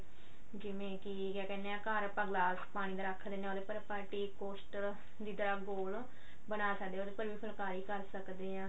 ਜਿਵੇਂ ਕੀ ਕਿਆ ਕਹਿਨੇ ਆ ਘਰ ਆਪਾਂ ਗਿਲਾਸ ਪਾਣੀ ਦਾ ਰੱਖ ਲੈਂਦੇ ਹਾਂ ਉਹਦੇ ਪਰ ਆਪਾਂ ਨੇ tea coaster ਦੀ ਤਰ੍ਹਾਂ ਗੋਲ ਬਣਾ ਸਕਦੇ ਹਾਂ ਭਾਵੇਂ ਫੁਲਕਾਰੀ ਕਰ ਸਕਦੇ ਹਾਂ